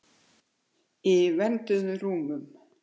Í vernduðum rúmum.